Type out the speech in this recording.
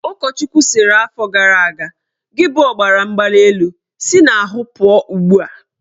Ụkọchukwu sịrị afọ gara aga"Gị bụ ọbaramgbalịelu, si n'ahụ pụọ ugbua!